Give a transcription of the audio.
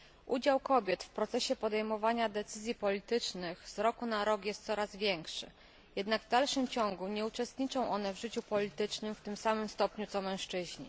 Udział kobiet w procesie podejmowania decyzji politycznych z roku na rok jest coraz większy, jednak w dalszym ciągu nie uczestniczą one w życiu politycznym w tym samym stopniu co mężczyźni.